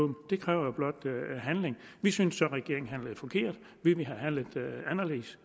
det kræver blot handling vi synes så regeringen handlede forkert vi ville have handlet anderledes